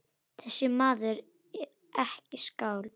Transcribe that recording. Þessi maður er ekki skáld.